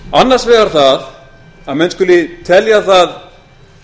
annars vegar það að menn skuli telja það